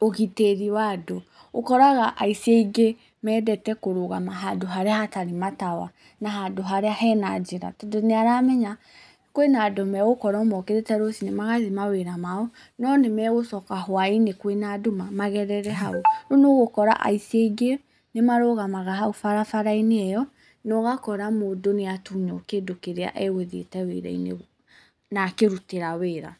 ũgitĩri wa andũ. Ũkoraga aici aingĩ mendete kũrũgama handũ harĩa hatarĩ matawa na handũ harĩa hena njĩra, tondũ nĩ aramenya kwĩna andũ me gũkorwo mokĩrĩte rũcinĩ magathiĩ mawĩra mao no nĩ megũcoka hwainĩ kwĩna nduma magerere hau, rĩu nĩ ũgũkora aici aingĩ nĩ marugamaga hau barabara-inĩ ĩyo na ũgakora mũndũ nĩ atunywo kĩndũ kĩrĩa egũthiĩte wĩra-inĩ na akĩrutĩra wĩra